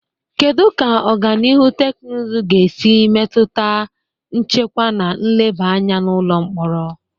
Kedu ka ọganihu teknụzụ ga-esi metụta nchekwa na nleba anya n'ụlọ mkpọrọ?